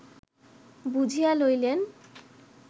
বুঝিয়া লইলেন